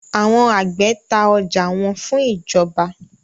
Àwọn àgbẹ ta ọjà wọn fún ìjọba.